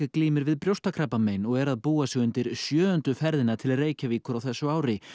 glímir við brjóstakrabbamein og er að búa sig undir sjöundu ferðina til Reykjavíkur á þessu ári